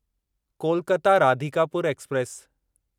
Kolkata Radhikapur express